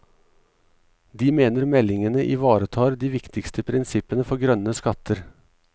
De mener meldingene ivaretar de viktigste prinsippene for grønne skatter.